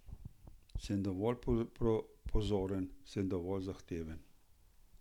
Sem dovolj pozoren, sem dovolj zahteven?